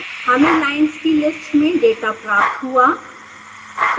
हमें लाइन्स की लिस्ट में डेटा प्राप्त हुआ